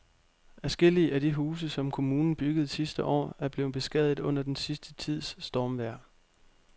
Adskillige af de huse, som kommunen byggede sidste år, er blevet beskadiget under den sidste tids stormvejr.